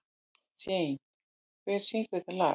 Jane, hver syngur þetta lag?